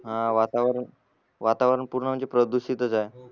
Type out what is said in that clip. हा वातावरण वातावरण पूर्ण म्हणजे प्रदुषीतच आहे